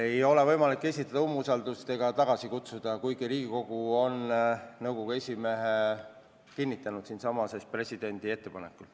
Ei ole võimalik esitada umbusaldusavaldust ega tagasi kutsuda, kuigi Riigikogu on presidendi ettepanekul nõukogu esimehe kinnitanud.